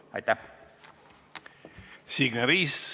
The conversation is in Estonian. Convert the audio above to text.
Aitäh!